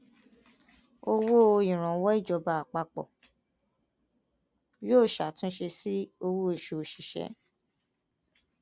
owó ìrànwọ ìjọba àpapọ yóò ṣàtúnṣe sí owóoṣù òṣìṣẹ